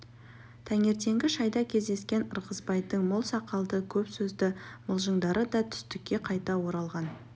таңертеңгі шайда кездескен ырғызбайдың мол сақалды көп сөзді мылжыңдары да түстікке қайта оралған